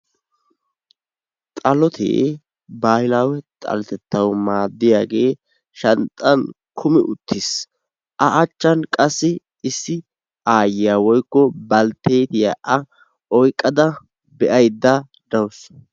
xalotee baahilaawe xaletettawu maadiyagee shanxan kummi uttis, a achan issi aayiya woykko balteettiya a oyqada be'aydda dawusu.